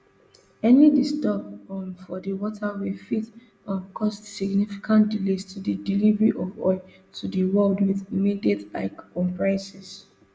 any disturb um for di waterway fit um cause significant delays to di delivery of oil to di world wit immediate hike on prices